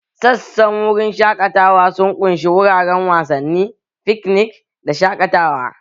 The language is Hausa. Sassan wurin shaƙatawa sun ƙunshi wuraren wasanni, fikinik da shaƙatawa